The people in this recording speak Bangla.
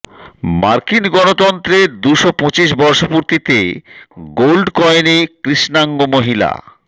মার্কিন গণতন্ত্রের দুশো পঁচিশ বর্ষপূর্তিতে গোল্ড কয়েনে কৃষ্ণাঙ্গ মহিলা